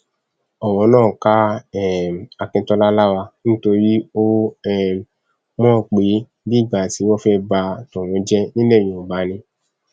ọrọ náà ká um akíntola lára nítorí ó um mọ pé bíi ìgbà tí wọn fẹẹ bá tòun jẹ nílẹ yorùbá ni